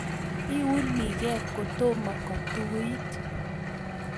Biunikee kotomo kotuit